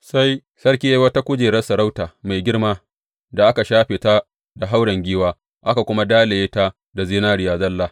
Sai sarki ya yi wata kujerar sarauta mai girma da aka shafe ta da hauren giwa, aka kuma dalaye ta da zinariya zalla.